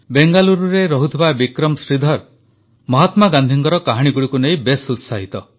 ବେଙ୍ଗାଲୁରୁରେ ରହୁଥିବା ବିକ୍ରମ ଶ୍ରୀଧର ମହାତ୍ମା ଗାନ୍ଧୀଙ୍କ କାହାଣୀଗୁଡ଼ିକୁ ନେଇ ବେଶ୍ ଉତ୍ସାହିତ